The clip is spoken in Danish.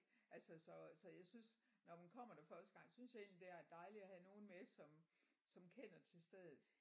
Altså så så jeg synes når man kommer der første gang synes jeg egentlig det er dejligt at have nogen med som som kender til stedet